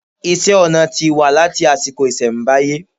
Iṣẹ́-ọnà ti wà láti àsìkò ìṣẹ̀mbáyé.